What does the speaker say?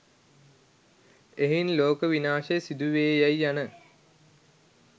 එහෙයින් ලෝක විනාශය සිදුවේයැයි යන